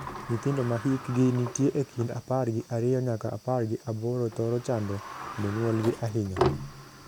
Nyithindo ma hikgi nitie e kind apar gi ariyo nyaka apar gi aboro thoro chando jonyuolgi ahinya.